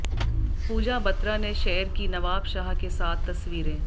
पूजा बत्रा ने शेयर की नवाब शाह के साथ तस्वीरें